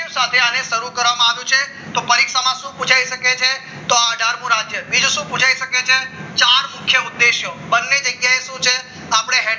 અને સાથે શરૂ કરવામાં આવ્યું છે તો પરીક્ષામાં શું પુછાય શકે તો અઢાર મુ રાજ્ય બીજું શું પુછાય શકે છે ચાર મુખ્ય ઉદ્દેશો બંને જગ્યાએ શું છે આપણે